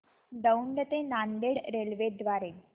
दौंड ते नांदेड रेल्वे द्वारे